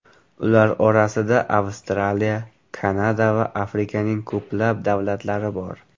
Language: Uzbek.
Ular orasida Avstraliya, Kanada va Afrikaning ko‘plab davlatlari bor.